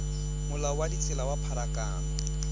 molao wa ditsela wa pharakano